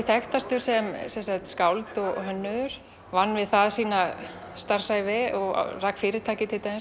þekktastur sem skáld og hönnuður vann við það sína starfsævi rak fyrirtæki